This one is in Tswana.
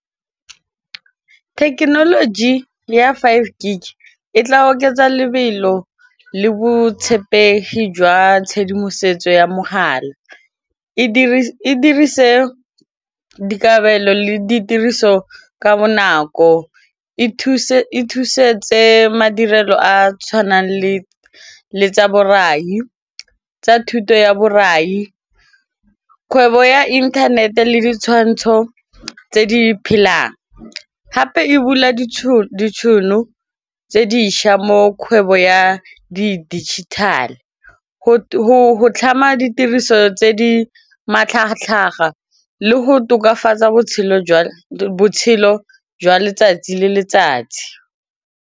Thekenoloji ya five gig e tla oketsa lebelo le botshepegi jwa tshedimosetso ya mogala, e dirise dikabelo le ditiriso ka bonako e thusetse madirelo a a tshwanang le tsa borai tsa thuto ya borai, kgwebo ya internet-e le ditshwantsho tse di phelang gape e bula ditšhono tse dišwa mo kgwebo ya di-digital-e go tlhama ditiriso tse di matlhagatlhaga le go tokafatsa botshelo jwa letsatsi le letsatsi.